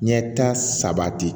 Ɲɛta sabati